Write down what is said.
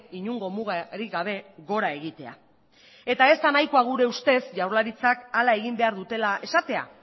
inongo mugarik gabe gora egitea eta ez da nahikoa gure ustez jaurlaritzak hala egin behar dutela esatea